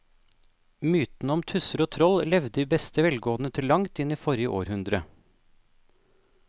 Mytene om tusser og troll levde i beste velgående til langt inn i forrige århundre.